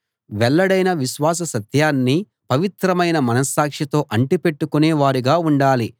వెల్లడైన విశ్వాస సత్యాన్ని పవిత్రమైన మనస్సాక్షితో అంటిపెట్టుకొనే వారుగా ఉండాలి